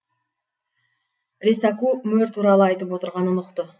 ресаку мөр туралы айтып отырғанын ұқты